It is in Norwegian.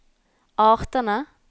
artene